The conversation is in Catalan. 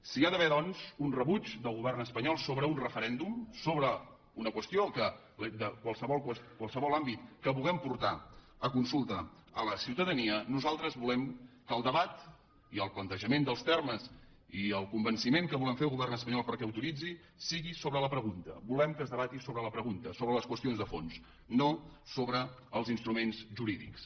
si hi ha d’haver doncs un rebuig del govern espanyol sobre un referèndum sobre una qüestió de qualsevol àmbit que vulguem portar a consulta a la ciutadania nosaltres volem que el debat i el plantejament dels termes i el convenciment que volem fer al govern espanyol perquè l’autoritzi siguin sobre la pregunta volem que es debati sobre la pregunta sobre les qüestions de fons no sobre els instruments jurídics